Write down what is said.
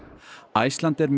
Icelandair